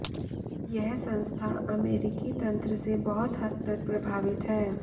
यह संस्था अमेरिकी तंत्र से बहुत हद तक प्रभावित है